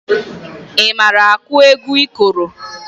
Ị mara akụ egwu ikoro?